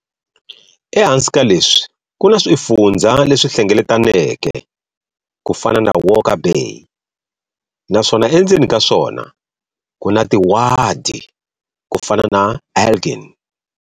Ehansi ka leswi kuna swifundzha leswi hlengeletaneke, kufana na Walker Bay, naswona endzeni ka swona kuna tiwadi, kufana na Elgin.